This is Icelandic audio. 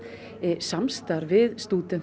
samstarf við stúdenta